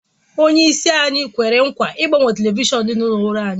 Onyeisi anyị kwere nkwa ịgbanwe telivishọn dị n'olu ọrụ anyị